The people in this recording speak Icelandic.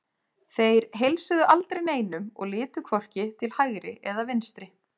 Þeir heilsuðu aldrei neinum og litu hvorki til hægri eða vinstri.